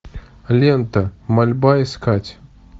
лента мольба искать